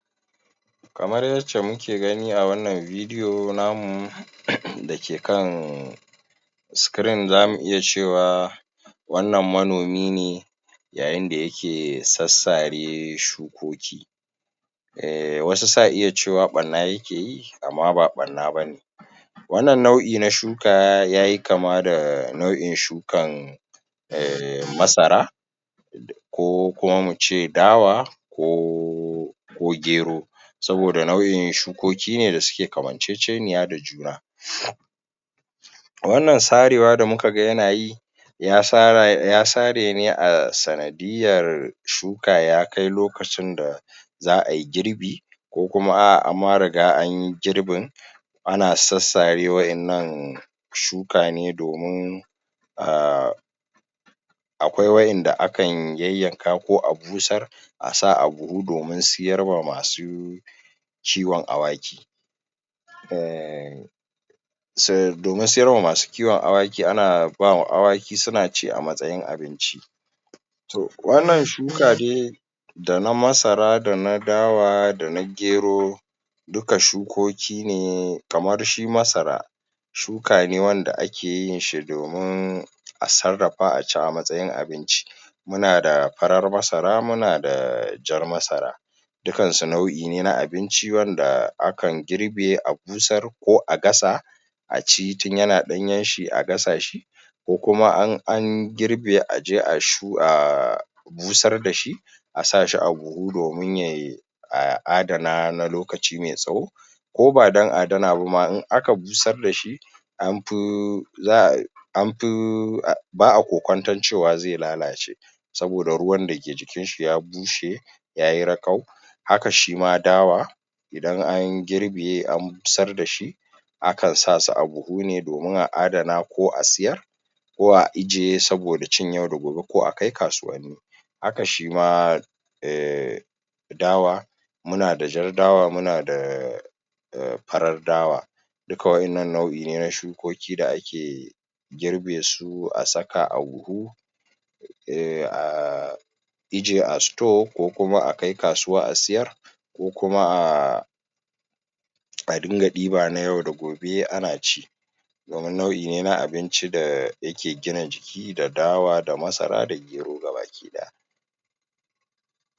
Kamar yacce muke gani a wannan video namu da ke kan screen za mu iya cewa wannan manomi ne yayin da yake sassare shukoki. Wasu sa iya cewa barna ya ke yi amma ba barna ba ne wannan nau'i na shuka ya yi kama da nau'in shukan um masara, ko kuma mu ce dawa ko ko gero. Saboda nau'in shukoki ne da suke kaman cece niya da juna wannan sarewa da muka ga yana yi ya sare ne a sanadiyar shuka ya kai lokacin da za'ayi girbi ko kuma a'a an ma riga anyi girbin ana sassare wadannan shuka ne domin a akwai wadanda akan yanyanka ko a busar a sa a buhu domin siyar wa masu kiwon awaki um domin siyar wa masu kiwon awaki ana ba ma awaki suna ci a matsayin abinci. Toh wannan shuka dai da na masara da na dawa da na gero dukka shukoki ne kaman shi masara, shuka ne wanda ake yin shi domin a sarrafa a ci a matsayin abinci. Muna da farar masara, muna da jar masara dukkansu nau'i ne na abinci wanda akan girbe a busar ko a gasa a ci tun yana danyen shi a gasa shi ko kuma in an girbe a je a shu[um] busar da shi a sa shi a buhu domin ya a ada na shi na lokaci mai tsawo. Ko ba don a da na ba ma in aka busar da shi an fi an fi ba a kokonton cewa zai lalace saboda ruwan da ke jikin shi ya bushe ya yi rakau Haka shi ma dawa idan an girbe an busar dashi, a kan sa su a buhu ne domin a a da na ko a siyar ko a ajiye saboda cin yau da gobe ko a kai kasuwanni. Haka shi ma um dawa, muna da jar dawa muna da farar dawa. Dukka wadannan nau'i ne na shukoki da ake girbe su a saka a buhu a ajiye a store ko kuma a kai kasuwa a sayar ko kuma a a dinga diba na yau da gobe ana ci domin nau'i ne na abinci da ke gina jiki da dawa, da masara, da gero gabaki daya.